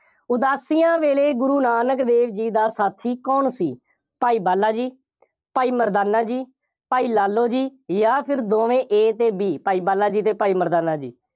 ਉਦਾਸੀਆਂ ਵੇਲੇ ਗੁਰੂ ਨਾਨਕ ਦੇਵ ਜੀ ਦਾ ਸਾਥੀ ਕੌਣ ਸੀ? ਭਾਈ ਬਾਲਾ ਜੀ, ਭਾਈ ਮਰਦਾਨਾ ਜੀ, ਭਾਈ ਲਾਲੋ ਜੀ ਜਾਂ ਫਿਰ ਦੋਵੇਂ A ਅਤੇ B ਭਾਈ ਬਾਲਾ ਜੀ ਅਤੇ ਭਾਈ ਮਰਦਾਨਾ ਜੀ।